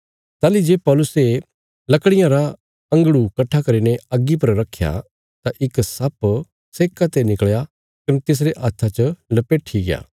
ताहली जे पौलुसे लकड़ियां रा अंगड़ु कट्ठा करीने अग्गी पर रखया तां इक सप्प सेक्का ते निकल़या कने तिसरे हत्था च लपेठि गया